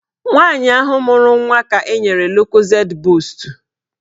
Nwaanyị ahụ mụrụ nwa ka enyere lokozed boostu